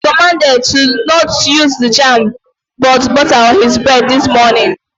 He was commanded to not use the jam but butter on his bread this morning!